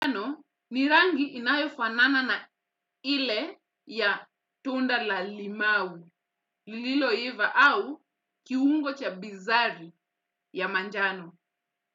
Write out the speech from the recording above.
Ni rangi inayofanana na ile ya tunda la limau, lililoiva au kiungo cha bizari ya manjano.